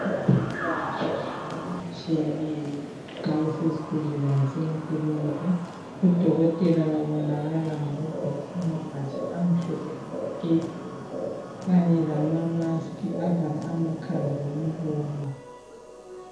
Abezempilakahle bagqoka okutshiyeneyo nxa besezibhedlela lasemakilinika. Odokotela, babonakala ngokugqoka amabhatshi, amhlophe nke! Kanye lama mask avala amakhala lomlomo.